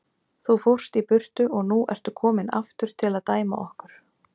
Þú fórst í burtu og nú ertu kominn aftur til að dæma okkur.